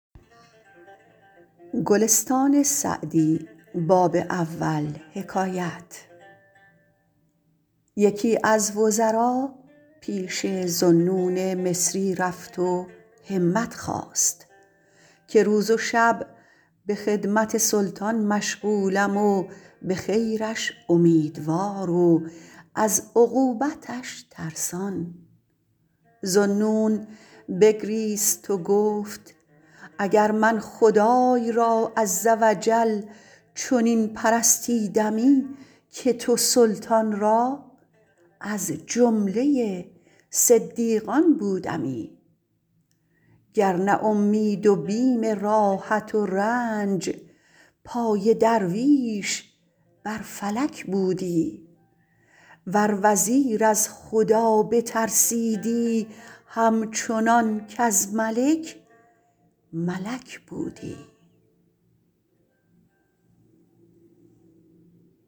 یکی از وزرا پیش ذوالنون مصری رفت و همت خواست که روز و شب به خدمت سلطان مشغولم و به خیرش امیدوار و از عقوبتش ترسان ذوالنون بگریست و گفت اگر من خدای را عز و جل چنین پرستیدمی که تو سلطان را از جمله صدیقان بودمی گر نه اومید و بیم راحت و رنج پای درویش بر فلک بودی ور وزیر از خدا بترسیدی هم چنان کز ملک ملک بودی